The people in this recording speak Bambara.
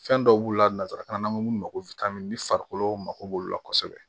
Fɛn dɔw b'u la nanzarakan na an bɛ mun komi ni farikolo mako b'olu la kosɛbɛ